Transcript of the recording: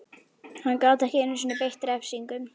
Hann gat ekki einu sinni beitt refsingum.